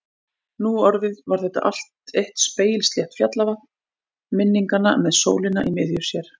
Nú orðið var þetta allt eitt spegilslétt fjallavatn minninga með sólina í miðju sér.